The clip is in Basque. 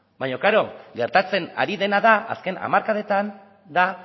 baina klaro gertatzen ari dena da azken hamarkadetan da